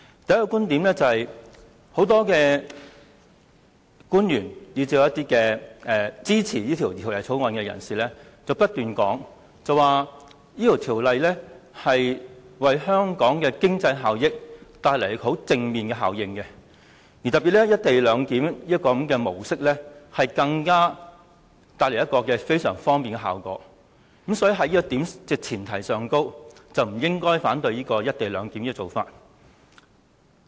第一，很多官員以至是支持《條例草案》的人，不斷指出《條例草案》可為香港帶來正面經濟效益，特別是"一地兩檢"的模式，更可帶來非常方便的效果，所以在這前提下，大家不應反對"一地兩檢"的安排。